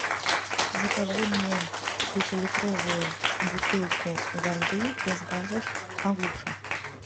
закажи мне пятилитровую бутылку воды без газов агуша